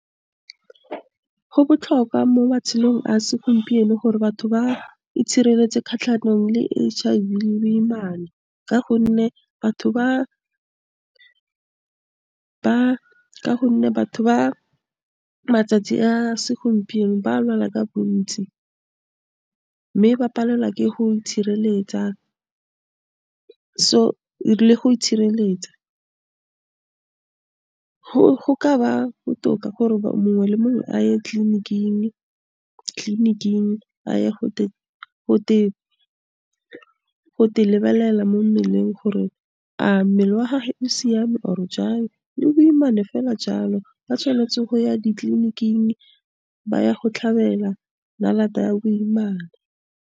Go botlhokwa mo matshelong a segompieno gore batho ba itshireletse kgatlhanong le H_I_V le boimana ka gonne batho ka gonne batho ba matsatsi a segompieno ba a lwala ka bontsi, mme ba palelwa ke go itshireletsa le go itshireletsa. go ka ba botoka gore mongwe le mongwe a ye tleliniking a ye go lebelela mo mmeleng gore a mmele wa gage o siame or-e jang le boimane fela jalo, ba tshwanetse go ya ditleliniking ba ye go tlhabela ya boimana.